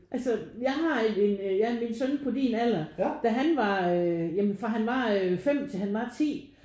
Altså jeg har en ja min søn på din alder da han var øh ja men fra han var 5 til han var 10